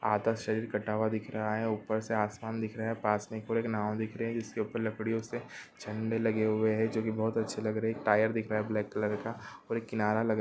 आधा शरीर कटा दिख रहा है ऊपर आसमान दिख रहा है पास एक नाव दिख रहा है जिसके ऊपर लकड़ियों से झंडे लगे हुए है जो की बहुत अच्छे लग रहे है एक टायर दिख रहा है ब्लेक कलर का ओर किनारा लग--